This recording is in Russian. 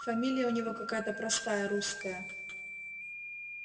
фамилия у него какая-то простая русская